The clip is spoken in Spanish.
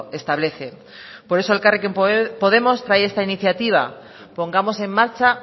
establece por eso elkarrekin podemos trae esta iniciativa pongamos en marcha